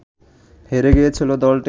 হেরে গিয়েছিল দলটি